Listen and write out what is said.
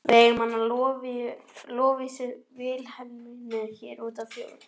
Við eigum hana Lovísu Vilhelmínu hér úti í fjósi.